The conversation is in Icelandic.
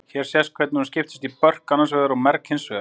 hér sést hvernig hún skiptist í börk annars vegar og merg hins vegar